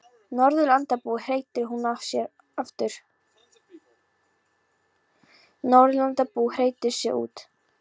Norðurlandabúi, hreytir hún út úr sér.